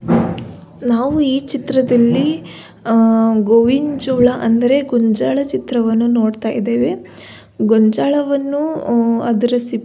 ನಾವು ಈ ಚಿತ್ರದಲ್ಲಿ ಆ ಗೋವಿನ್ ಜೋಳ ಅಂದರೆ ಗೋಂಜಾಳ ಚಿತ್ರವನ್ನು ನೋಡ್ತಾ ಇದ್ದೇವೆ ಗೊಂಜಾಲವನ್ನು ಅದರ ಸಿಪ್ಪೆ --